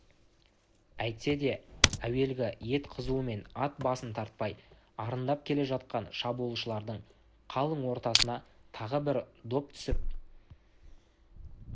әйтсе де әуелгі ет қызумен ат басын тартпай арындап келе жатқан шабуылшылардың қалың ортасына тағы бір доп түсіп